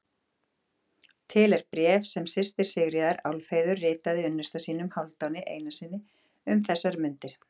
Til er bréf sem systir Sigríðar, Álfheiður, ritaði unnusta sínum, Hálfdáni Einarssyni, um þessar mundir.